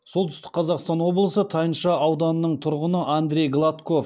солтүстік қазақстан облысы тайынша ауданының тұрғыны андрей гладков